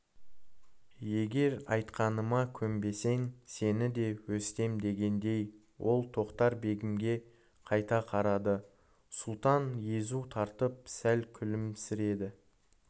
егер айтқаныма көнбесең сені де өстем дегендей ол тоқтар-бегімге қайта қарады сұлтан езу тартып сәл күлімсіреді